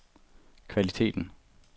kvaliteten